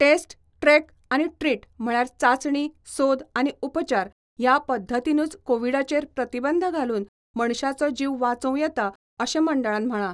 Taste, track आनी treat म्हळ्यार चाचणी, सोद आनी उपचार ह्या पध्दतीनूच कोविडाचेर प्रतिबंध घालून मनशाचो जीव वाचोव येतां, अशें मंडळान म्हळा.